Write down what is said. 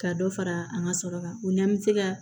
Ka dɔ fara an ka sɔrɔ kan o n'an bɛ se ka